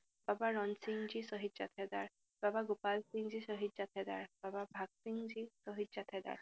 বাবা ৰনসিংজী শ্বহীদ জাথেদাৰ, বাবা গোপালসিংজী শ্বহীদ জাথেদাৰ, বাবা ভাকসিংজী শ্বহীদ জাথেদাৰ